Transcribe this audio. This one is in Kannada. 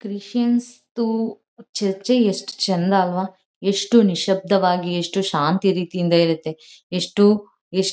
ಕ್ರಿಸ್ಟಿಯಾನ್ಸ್ದು ಚರ್ಚೆ ಎಷ್ಟು ಚೆಂದ ಅಲ್ವಾ ಎಷ್ಟು ನಿಶಬ್ದ ವಾಗಿ ಎಷ್ಟು ಶಾಂತಿ ರೀತಿಯಿಂದ ಇರುತ್ತೆ ಎಷ್ಟು ಎಷ್ಟ್-